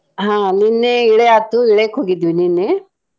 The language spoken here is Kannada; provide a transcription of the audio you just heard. ಹಾ ನಿನ್ನೆ ಇಳೆ ಆತು ಇಳೆಕ್ ಹೋಗಿದ್ವಿ ನಿನ್ನೆ.